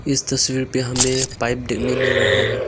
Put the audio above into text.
इस तस्वीर पे हमें पाइप देखने मिल रहा है।